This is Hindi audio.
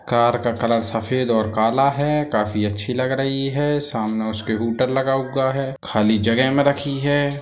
कार का कलर सफ़ेद और काला है काफी अच्छी लग रही है सामने उसके हूटर लगा हुआ है खाली जगह में रखी है।